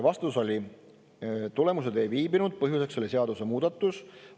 Vastus oli, et tulemused ei viibinud, põhjuseks oli seadusemuudatus.